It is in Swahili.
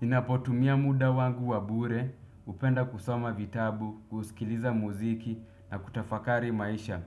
Ninapotumia muda wangu wa bure, hupenda kusoma vitabu, kusikiliza muziki na kutafakari maisha.